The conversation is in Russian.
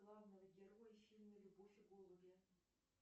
главного героя в фильме любовь и голуби